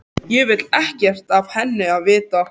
Ég vil ekkert af henni vita.